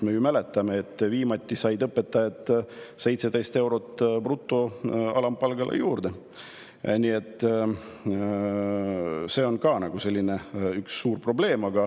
Me ju mäletame, et viimati said õpetajad 17 eurot bruto alampalgale juurde, nii et see on ka üks suur probleem.